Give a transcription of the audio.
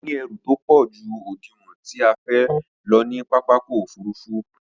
Mo ní ẹrù tópọ̀ ju òdiwọ̀n tí a fẹ́ lọ ní pápákọ̀ òfurufú